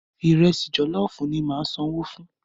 Ìrẹsi jọ̀lọ́fùú ni ma san owó fún.